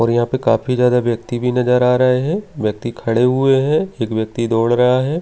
और यहाँ पर काफी ज्यादा व्यक्ति भी नज़र आ रहे हैं व्यक्ति खड़े हुए हैं एक व्यक्ति दौड़ रहा है।